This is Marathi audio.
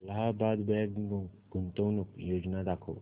अलाहाबाद बँक गुंतवणूक योजना दाखव